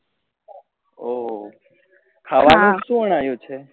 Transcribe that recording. ઓહો ખાવા નું શું બનાવ્યું છે?